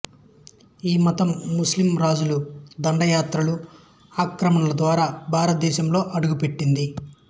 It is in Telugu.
ఈ మతం ముస్లింరాజుల దండయాత్రలు ఆక్రమణల ద్వారా భారతదేశంలో అడుగుపెట్టింది